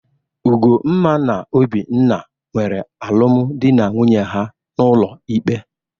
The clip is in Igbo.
Ugomma na Obinna nwere alụmdị na nwunye ha n'ụlọ ikpe.